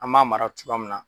An b'a mara cogoya min na